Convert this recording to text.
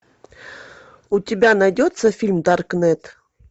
у тебя найдется фильм даркнет